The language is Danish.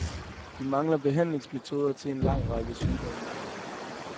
Vi mangler behandlingsmetoder til en lang række sygdomme.